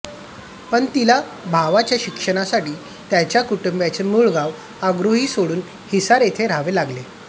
पण तिला भावाच्या शिक्षणासाठी त्याच्या कुटुंबाचे मूळ गाव अग्रोहा सोडून हिसार येथे राहावे लागले